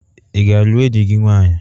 Ị ga-alụ enyi gị nwanyị?